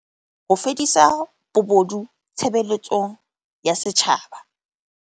Ho fedisa bobodu tshebeletsong ya setjhaba.